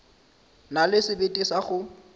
na le sebete sa go